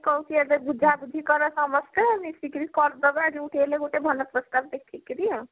କହୁଛି ଆଗ ବୁଝା ବୁଝି କର ସମସ୍ତେ ମିଶିକିରି କରି ଦବା ଯୋଉଠି ହେଲେ ଗୋଟେ ଭଲପ୍ରସ୍ତାବ ଦେଖିକି